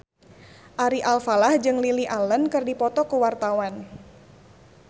Ari Alfalah jeung Lily Allen keur dipoto ku wartawan